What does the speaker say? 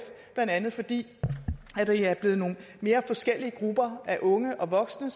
blandt andet fordi det er blevet mere forskellige grupper af unge og voksne